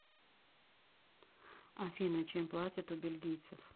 афина чем платят у бельгийцев